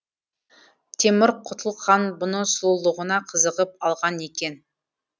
темір құтлық хан бұны сұлулығына қызығып алған екен